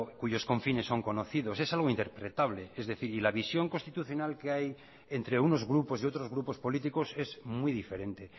cuyos confines son conocidos es algo interpretable es decir y la visión constitucional que hay entre unos grupos y otros grupos políticos es muy diferente